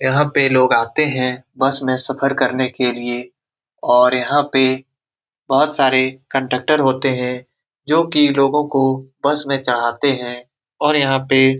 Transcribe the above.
यहाँ पे लोग आते हैं बस में सफ़र करने के लिए और यहाँ पे बहुत सारे कंडक्टर होते है जो की लोगो को बस में चढ़ाते है और यहाँ पे --